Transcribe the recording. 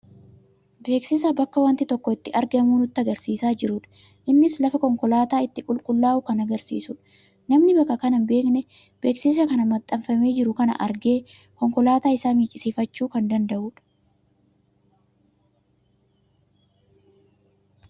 Beeksisa bakka wanti tokko itti argamu nutti agarsiisaa jirudha. Innis lafa konkolaataa itti qulqullaa'u kan agarsiisudha. Namni bakka kana hin beekne beeksisa maxxanfamee jiru kana argee konkolaataa isaa miiccisiifachuu kan danda'udha.